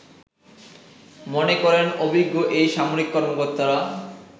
মনে করেন অভিজ্ঞ এই সামরিক কর্মকর্তারা